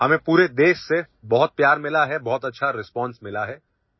আমি দেশৰ বিভিন্ন প্ৰান্তৰ পৰা বহুত মৰম পালোঁ বহুত ভাল সঁহাৰি পালোঁ